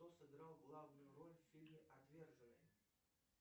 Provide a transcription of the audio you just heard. кто сыграл главную роль в фильме отверженные